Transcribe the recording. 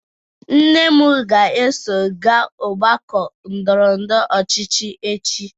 Nne m ga-eso gaa ọgbakọ ndọrọ ndọrọ ọchịchị echi.